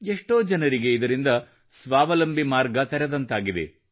ಎಷ್ಟೋ ಜನರಿಗೆ ಇದರಿಂದ ಸ್ವಾವಲಂಬಿ ಮಾರ್ಗ ತೆರೆದಂತಾಗಿದೆ